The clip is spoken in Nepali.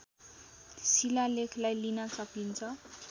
शिलालेखलाई लिन सकिन्छ